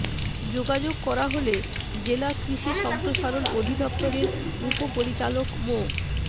যোগাযোগ করা হলে জেলা কৃষি সম্প্রসারণ অধিদপ্তরের উপপরিচালক মো